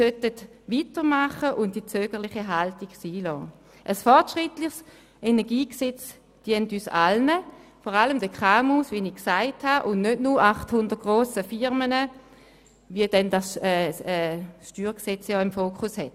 Ein fortschrittliches Energiegesetz dient uns allen, vor allem den KMU und nicht nur 800 grossen Firmen, wie sie das Steuergesetz (StG) im Fokus hat.